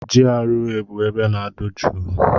GRA bụ ebe na-adụ jụụ.